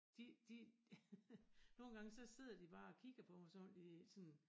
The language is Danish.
De de nogen gange så sidder de bare og kigger på mig som om de sådan